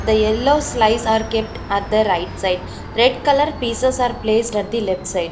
The yellow slice are kept at the right side red colour pieces are placed at the left side.